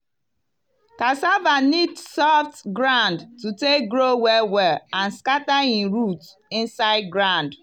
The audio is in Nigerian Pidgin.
cassava need soft ground to take grow well well and scatter him root inside ground.